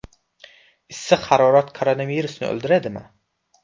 Issiq harorat koronavirusni o‘ldiradimi?